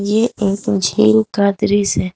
ये एक झील का दृश्य है।